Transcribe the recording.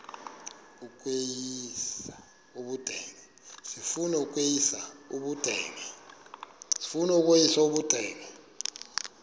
sifuna ukweyis ubudenge